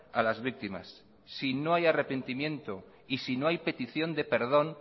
a las víctimas si no hay arrepentimiento y si no hay petición de perdón